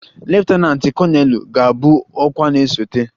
leftananti koneelu ga-abụ ọkwa na-esote